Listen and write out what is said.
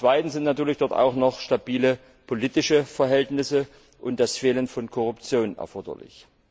Zum Zweiten sind natürlich dort auch noch stabile politische Verhältnisse und das Fehlen von Korruption erforderlich.